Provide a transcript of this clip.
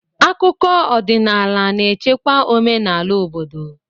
Akụkọ ọdịnaala na-echekwa omenala obodo.